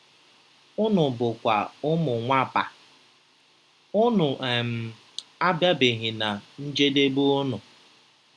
Unu bụkwa ụmụ Nwapa; unu um abịabeghị ná njedebe unu.”